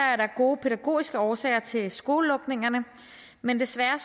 er der gode pædagogiske årsager til skolelukningerne men desværre